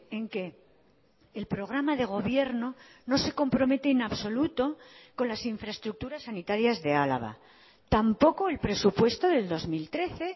en que el programa de gobierno no se compromete en absoluto con las infraestructuras sanitarias de álava tampoco el presupuesto del dos mil trece